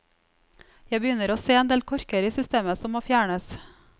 Jeg begynner å se en del korker i systemet som må fjernes.